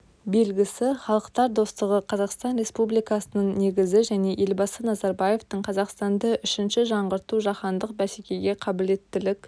белгісі халықтар достығы қазақстан республикасының негізі және елбасы назарбаевтың қазақстанды үшінші жаңғырту жаһандық бәсекеге қабілеттілік